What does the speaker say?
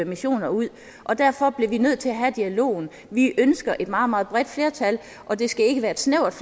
missioner ud og derfor bliver vi nødt til at have dialogen vi ønsker et meget meget bredt flertal og det skal ikke være et snævert